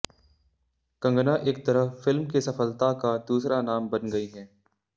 कंगना एक तरह फिल्म की सफलता का दूसरा नाम बन गई हैं